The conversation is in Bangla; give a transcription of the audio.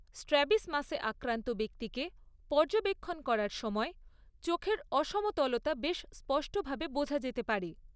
স্ট্র্যাবিসমাসে আক্রান্ত ব্যক্তিকে পর্যবেক্ষণ করার সময় চোখের অসমতলতা বেশ স্পষ্টভাবে বোঝা যেতে পারে।